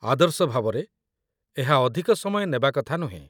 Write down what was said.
ଆଦର୍ଶ ଭାବରେ, ଏହା ଅଧିକ ସମୟ ନେବା କଥା ନୁହେଁ